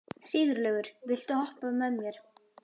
Sigurlaugur, viltu hoppa með mér?